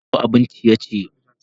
Ana gasa wasu kayan ciye-ciye